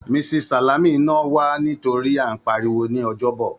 Mrs. Salami nà wá nítorí à ń pariwo ní Ọjọ́bọ̀.